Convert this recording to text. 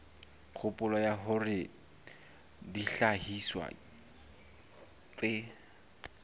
kgopolo ya hore dihlahiswa tse